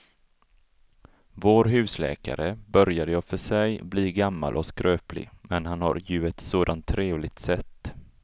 Vår husläkare börjar i och för sig bli gammal och skröplig, men han har ju ett sådant trevligt sätt!